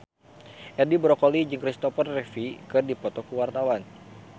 Edi Brokoli jeung Christopher Reeve keur dipoto ku wartawan